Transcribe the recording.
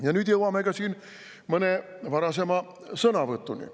Ja nüüd jõuame ka mõne varasema sõnavõtuni.